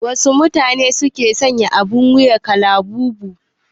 Wasu matune ne ke sanya abin wuya na kalabubu?